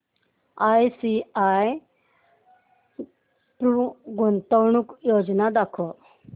ICICI Pru गुंतवणूक योजना दाखव